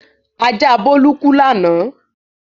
Ajá Bólú kú lánàá.